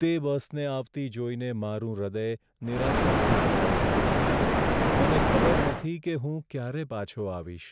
તે બસને આવતી જોઈને મારું હૃદય નિરાશાથી ભરાઈ જાય છે. મને ખબર નથી કે હું ક્યારે પાછો આવીશ.